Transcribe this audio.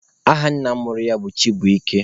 Aha nna mụrụ ya bụ Chibuike.